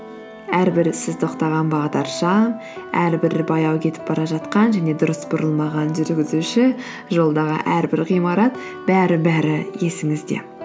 әрбір сіз тоқтаған бағдаршам әрбір баяу кетіп бара жатқан және дұрыс бұрылмаған жүргізуші жолдағы әрбір ғимарат бәрі бәрі есіңізде